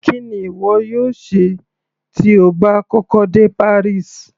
Kí ni ìwọ yóò ṣe tí o bá kọ́kọ́ dé Paris.